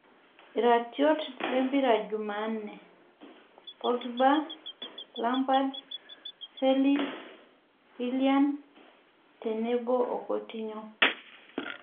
Iratiot lmpira Jumanne; Pogiba, Lampard, felis, W illian tenebo o Kotinyo